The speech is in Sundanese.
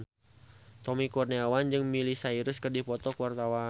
Tommy Kurniawan jeung Miley Cyrus keur dipoto ku wartawan